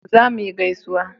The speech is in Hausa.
za mu yi gaisuwa